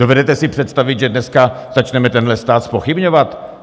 Dovedete si představit, že dneska začneme tenhle stát zpochybňovat?